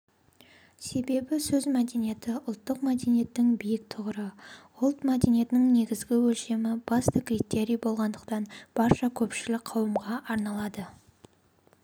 себебі сөз мәдениеті ұлттық мәдениеттің биік тұғыры ұлт мәдениетінің негізгі өлшемі басты критерийі болғандықтан барша көпшілік қауымға арналады